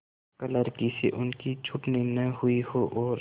क्लर्की से उनकी छँटनी न हुई हो और